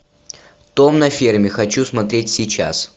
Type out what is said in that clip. дом на ферме хочу смотреть сейчас